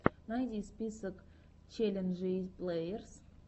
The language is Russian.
найди список челленджей плеерс